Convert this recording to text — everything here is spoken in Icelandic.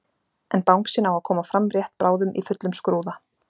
En bangsinn á að koma fram rétt bráðum í fullum skrúða.